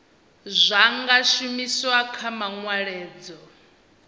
zwa nga shumiswa kha manweledzo